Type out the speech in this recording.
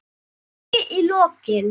Kaffi í lokin.